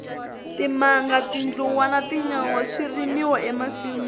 timanga tindluwa na tinyawa swi rimiwa e masinwini